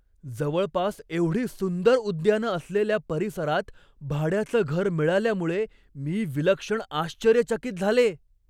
जवळपास एवढी सुंदर उद्यानं असलेल्या परिसरात भाड्याचं घर मिळाल्यामुळे मी विलक्षण आश्चर्यचकित झाले.